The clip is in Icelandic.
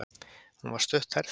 Hún var stutthærð.